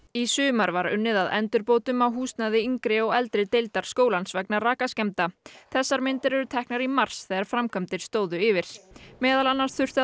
í sumar var unnið að endurbótum á húsnæði yngri og eldri deildar skólans vegna rakaskemmda þessar myndir eru teknar í mars þegar framkvæmdir stóðu yfir meðal annars þurfti að